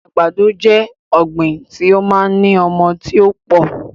Àgbàdo jẹ́ ọ̀gbín tí ó máa ń ní ọmọ tí ó pọ̀